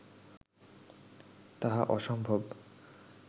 তাহা অসম্ভব